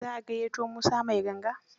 Za a gayyato Musa mai ganga?